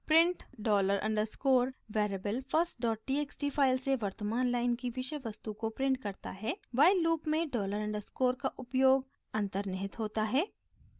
print $_ variable firsttxt file से वर्तमान line की विषय वस्तु को प्रिंट करता है while लूप में $_ का उपयोग अन्तर्निहित होता है